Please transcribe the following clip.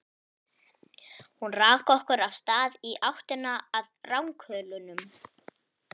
Hún rak okkur af stað í áttina að ranghölunum.